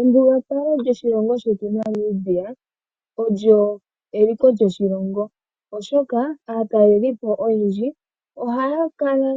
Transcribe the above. Embugalo lyoshilongo shetu Namibia olyo limwe lyomomaliko goshilongo oshoka aatalelipo oyendji ohaa kala